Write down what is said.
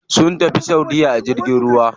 Sun tafi saudiya a jirgin ruwa.